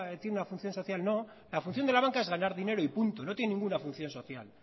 tiene una función social no la función de la banca es ganar dinero y punto no tiene ninguna función social